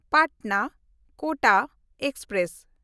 ᱯᱟᱴᱱᱟ–ᱠᱳᱴᱟ express